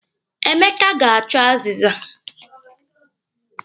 Emeka ga-achọ azịza.